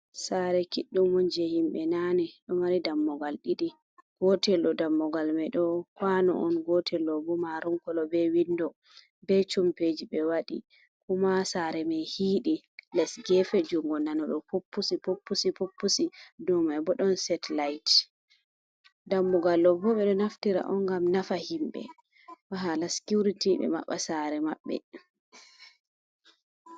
Sare kiɗɗum on je himɓe nane ɗo mari dammugal ɗiɗi, gotel do dammugal mai do kwano on gotel ɗo bo maronkolo be windo be cumpeji be wadi kuma sare mai hiidi les gefe jungo nano do pupusi pupusi puppusi domai bo ɗon setelait dammugal ɗo bo ɓe ɗo naftira on gam nafa himɓe ba hala sikurity be maɓɓa sare maɓbe.